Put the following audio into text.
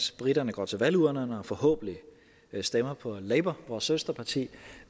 briterne går til valgurnerne og forhåbentlig stemmer på labour vores søsterparti